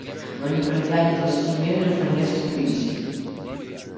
но не пройдя ни двадцати метров они остановились